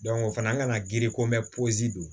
o fana kana giri ko mɛn pɔsi don